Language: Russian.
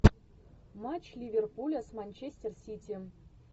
матч ливерпуля с манчестер сити